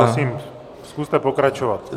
Prosím, zkuste pokračovat.